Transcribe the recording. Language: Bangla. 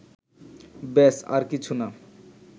ব্যস, আর কিছু না